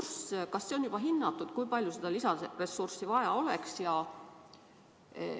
Aga kas seda on juba hinnatud, kui palju seda lisaressurssi vaja oleks?